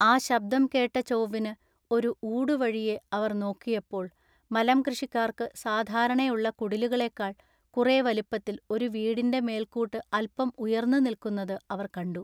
ആ ശബ്ദം കേട്ട ചോവ്വിനു ഒരു ഊടുവഴിയെ അവർ നോക്കിയപ്പോൾ മലംകൃഷിക്കാർക്ക് സാധാരണയുള്ള കുടിലുകളെക്കാൾ കുറെ വലിപ്പത്തിൽ ഒരു വീടിന്റെ മേൽകൂട്ട് അല്പം ഉയർന്ന് നില്ക്കുന്നത് അവർ കണ്ടു.